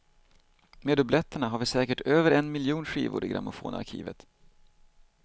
Med dubletterna har vi säkert över en miljon skivor i grammofonarkivat.